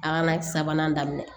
A kana na sabanan daminɛ